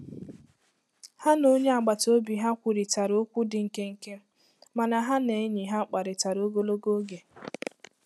Ha na onye agbata obi ha kwurịtara okwu dị nkenke mana ha na enyi ha kparịtara ogologo oge.